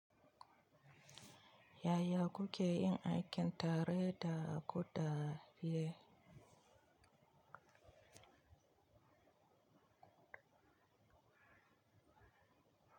Yaya kuke yin aikin tare da ku da iyaye.